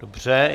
Dobře.